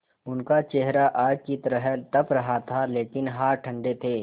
उनका चेहरा आग की तरह तप रहा था लेकिन हाथ ठंडे थे